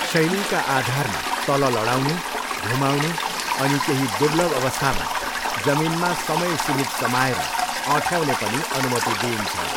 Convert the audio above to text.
शैलीका आधारमा, तल लडाउनु, घुमाउनु अनि केही दुर्लभ अवस्थामा जमिनमा समय सीमित समाएर अँठ्याउँने पनि अनुमति दिइन्छ।